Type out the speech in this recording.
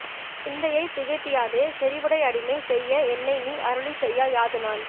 சிந்தையைத் திகைப்பியாதே செறிவுடை அடிமை செய்ய என்னை நீ அருளிச் செய்யா யாது நான்